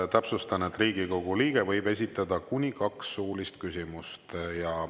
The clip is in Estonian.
Täpsustan, et Riigikogu liige võib esitada kuni kaks suulist küsimust.